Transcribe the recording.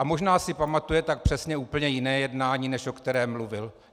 A možná si pamatuje tak přesně úplně jiné jednání, než o kterém mluvil.